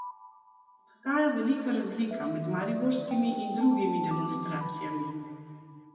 Obstaja velika razlika med mariborskimi in drugimi demonstracijami.